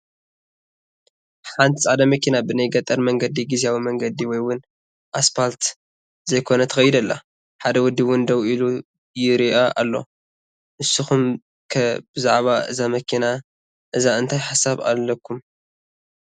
ሓንቲ ፃዕዳ መኪና ብናይ ገጠር መንገዲ ጊዚያዊ መንገደ ወይ ውን ኣስፓልት ዘይኮነ ትኸይድ ኣላ፡፡ ሓደ ወዲ ውን ደው ኢሉ ይሪኣ ኣሎ፡፡ ንስኹም ከ ብዛዕባ እዛ መኪና እዛ እንታይ ሓሳብ ኣለኩም?